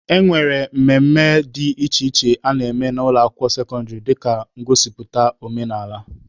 E nwere mmemme dị iche iche a na-eme n'ụlọ akwụkwọ sekọndịrị dịka ụbọchị ngosipụta omenaala.